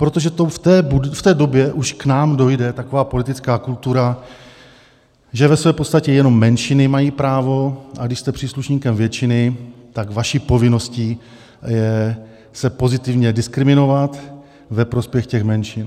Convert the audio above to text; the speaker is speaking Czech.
Protože to v té době už k nám dojde, taková politická kultura, že ve své podstatě jenom menšiny mají právo, ale když jste příslušníkem většiny, tak vaší povinností je se pozitivně diskriminovat ve prospěch těch menšin.